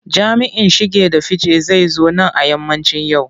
Jami'in shige da fice zai zo nan a yammacin yau.